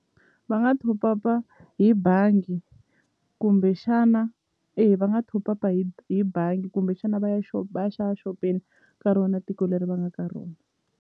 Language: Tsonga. Va nga top up-a hi bangi kumbexana e va nga top up-a hi hi bangi kumbexana va ya va ya xopeni ka rona tiko leri va nga ka rona.